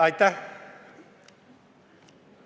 Aitäh!